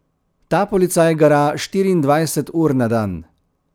Ta policaj gara štiriindvajset ur na dan.